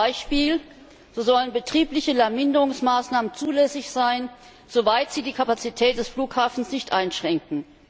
Beispiel So sollen betriebliche Lärmminderungsmaßnahmen zulässig sein, soweit sie die Kapazität des Flughafens nicht einschränken.